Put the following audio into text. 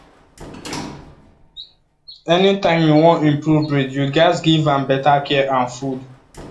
anytime you wan improve breed you gats give am better care and food